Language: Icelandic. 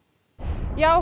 já